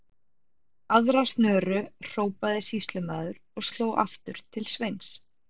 Aðra snöru, hrópaði sýslumaður og sló aftur til Sveins.